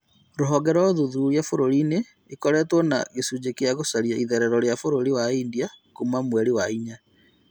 Rũhonge rwa ũthuthuria bũrũri-inĩ nĩkorĩtwo na icunjĩ cia gũcaria itherero rĩa bũrũri wa India Kuma mweri wa inya